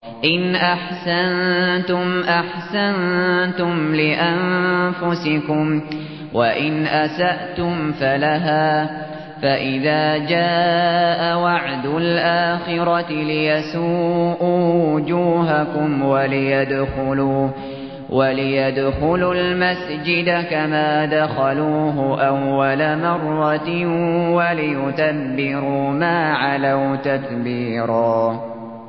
إِنْ أَحْسَنتُمْ أَحْسَنتُمْ لِأَنفُسِكُمْ ۖ وَإِنْ أَسَأْتُمْ فَلَهَا ۚ فَإِذَا جَاءَ وَعْدُ الْآخِرَةِ لِيَسُوءُوا وُجُوهَكُمْ وَلِيَدْخُلُوا الْمَسْجِدَ كَمَا دَخَلُوهُ أَوَّلَ مَرَّةٍ وَلِيُتَبِّرُوا مَا عَلَوْا تَتْبِيرًا